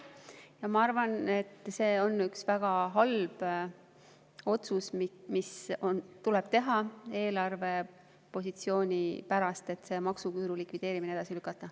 Ja ma arvan, et see on üks väga halb otsus, mis tuleb teha eelarvepositsiooni pärast – see maksuküüru likvideerimise edasilükkamine.